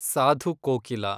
Sadhu Kokila